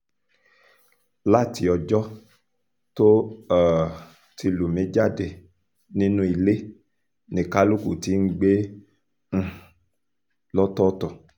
láti ọjọ́ tó um ti lù mí jáde nínú ilé ni kálukú ti ń gbé um lọ́tọ̀ọ̀tọ̀